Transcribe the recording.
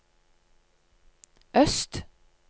øst